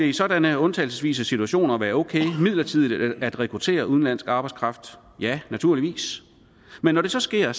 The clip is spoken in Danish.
i sådanne undtagelsesvise situationer være okay midlertidigt at rekruttere udenlandsk arbejdskraft ja naturligvis men når det så sker